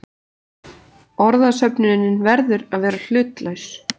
Orðasöfnunin verður að vera hlutlaus.